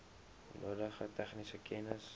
nodige tegniese kennis